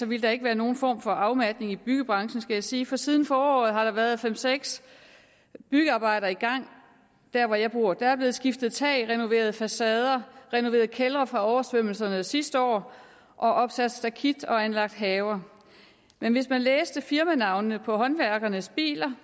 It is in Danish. ville der ikke være nogen form for afmatning i byggebranchen skal jeg sige for siden foråret har der været fem seks byggearbejder i gang hvor jeg bor der er blevet skiftet tag renoveret facader renoveret kældre fra oversvømmelserne sidste år opsat stakit og anlagt haver men hvis man læste firmanavnene på håndværkernes biler